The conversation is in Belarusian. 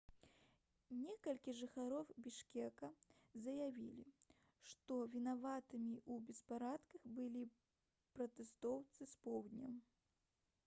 некалькі жыхароў бішкека заявілі што вінаватымі ў беспарадках былі пратэстоўцы з поўдня